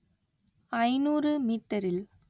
ஐநூறு மீட்டரில்